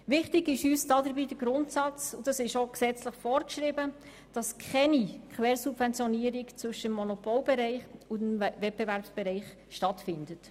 Wichtig ist uns dabei der gesetzlich vorgeschriebene Grundsatz, dass keine Quersubventionierung zwischen dem Monopolbereich und dem Wettbewerbsbereich stattfindet.